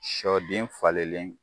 Sɔden falenlen